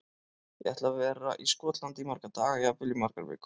Ég ætla að vera í Skotlandi í marga daga, jafnvel í margar vikur.